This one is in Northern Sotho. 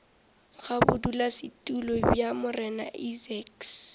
ga bodulasetulo bja morena isaacs